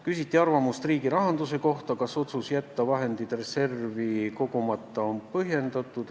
Küsiti arvamust riigirahanduse kohta: kas otsus jätta vahendid reservi kogumata on põhjendatud.